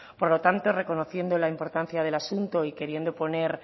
por lo tanto reconociendo la importancia del asunto y queriendo poner